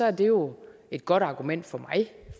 er det jo et godt argument for mig